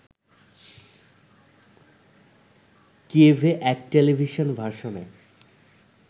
কিয়েভে এক টেলিভিশন ভাষণে